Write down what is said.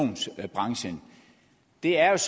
det er et